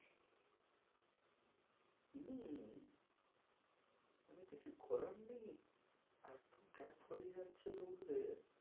কিছু করার নেই এতো gap হয়ে যাচ্ছে লোকদের,